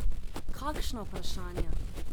Kakšna vprašanja?